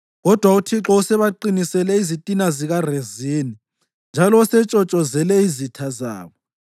Kodwa uThixo usebaqinisele izitha zikaRezini, njalo usetshotshozele izitha zabo.